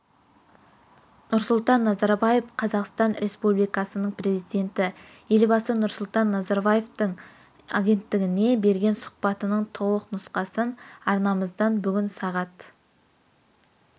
нұрсұлтан назарбаев қазақстан республикасының президенті елбасы нұрсұлтан назарбаевтың агенттігіне берген сұхбатының толық нұсқасын арнамыздан бүгін сағат